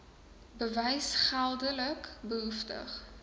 bewys geldelik behoeftig